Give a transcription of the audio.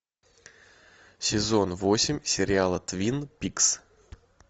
сезон восемь сериала твин пикс